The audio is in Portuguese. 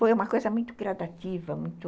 Foi uma coisa muito gradativa, muito...